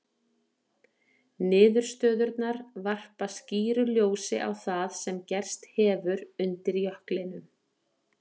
Niðurstöðurnar varpa skýru ljósi á það sem gerst hefur undir jöklinum.